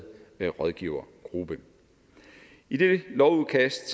rådgivergruppe i det lovudkast